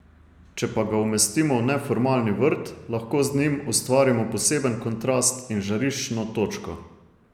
Če pa ga umestimo v neformalni vrt, lahko z njim ustvarimo poseben kontrast in žariščno točko.